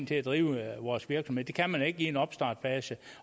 til at drive vores virksomhed det kan man ikke i en opstartsfase